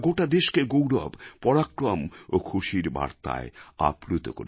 দেশকে গৌরব পরাক্রম এবং খুশির বার্তায় আপ্লুত করেছিল